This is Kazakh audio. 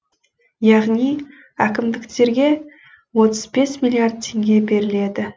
яғни әкімдіктерге отыз бес миллиард теңге беріледі